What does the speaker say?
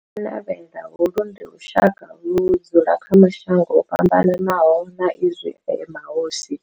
Vha Ha-Manavhela, holu ndi lushaka ludzula kha mashango ofhambanaho sa izwi e mahosi,